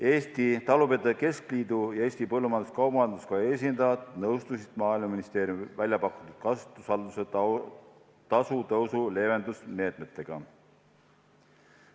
Eesti Talupidajate Keskliidu ja Eesti Põllumajandus-Kaubanduskoja esindajad nõustusid Maaeluministeeriumi välja pakutud kasutusvalduse tasu tõusu leevenduse meetmetega.